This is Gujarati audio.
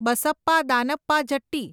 બસપ્પા દાનપ્પા જટ્ટી